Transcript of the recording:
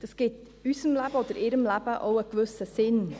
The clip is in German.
Das gibt unserem Leben oder ihrem Leben auch einen gewissen Sinn.